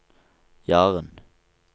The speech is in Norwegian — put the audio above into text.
Jaren